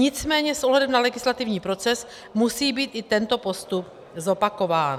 Nicméně s ohledem na legislativní proces musí být i tento postup zopakován.